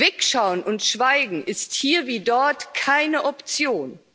Wegschauen und Schweigen ist hier wie dort keine Option.